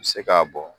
I bɛ se k'a bɔn